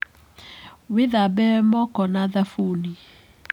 Wĩthambe moko na thabuni.